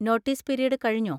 Notice period കഴിഞ്ഞോ?